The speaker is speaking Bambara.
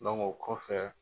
Donku, o kɔ fɛ